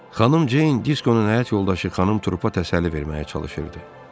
Xanım Jeyn Diskonun həyat yoldaşı xanım Trupa təsəlli verməyə çalışırdı.